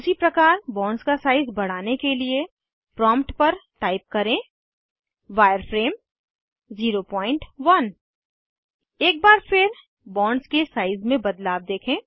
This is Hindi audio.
उसी प्रकार बॉन्ड्स का साइज़ बढ़ाने के लिए प्रॉम्प्ट पर टाइप करें वायरफ्रेम 01 एक बार फिर बॉन्ड्स के साइज़ में बदलाव देखें